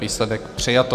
Výsledek: přijato.